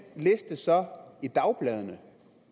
liste så i dagbladene